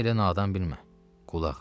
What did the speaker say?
Məni elə nadan bilmə.